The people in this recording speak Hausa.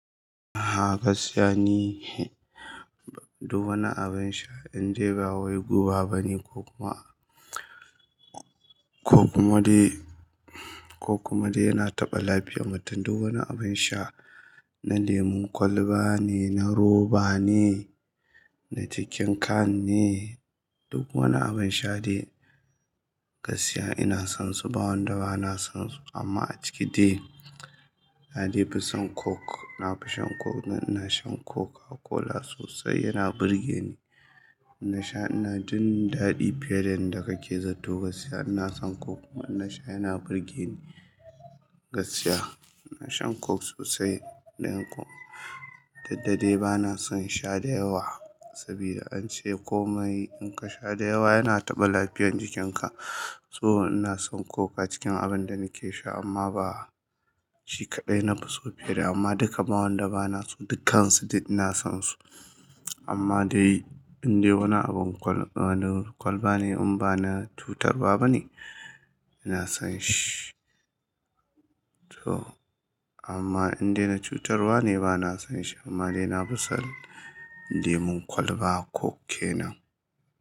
Aha gaskiya ni, duk wani abin sha indai ba wai guba bane ko kuma, ko kuma dai, ko kuma dai yana taɓa lafiyan mutum, duk wani abun sha, na lemun kwalba ne, na roba ne, da cikin Can ne, duk wani abun sha dai, gaskiya ina son su ba wadda bana so amma a ciki dai, na dai fi san Coke, na fi shan Coke. Ina shan Coca-Cola sosai, yana burge ni. Inna sha, ina jin daɗi fiye da yadda kake zato gaskiya. Ina son Coke kuma inna sha, yana burge ni gaskiya. Inna shan Coke sosai ɗanƙo, duk dadai bana son sha da yawa sabida an ce ko mai in ka sha da yawa yana taɓa lafiyar jikinka. So ina son Coke a cikin abin da nake sha amma ba shi kaɗai na fi so fiye da, amma duka ba wanda bana so, dukkansu duk ina son su. Amma dai indai wani abin kwal, kwalba ne in bana cutar wa bane, ina son shi. To amma indai na cutarwa ne bana son shi, amma dai na fi son lemun kwalba Coke kenan.